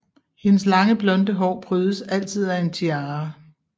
Hendes lange blonde hår prydes altid af en tiara